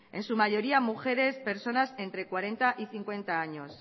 en su mayoría mujeres entre cuarenta y cincuenta años